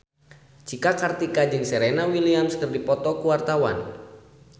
Cika Kartika jeung Serena Williams keur dipoto ku wartawan